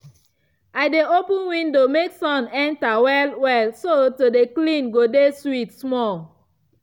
i dey open window make sun enter well-well so to dey clean go de sweet small.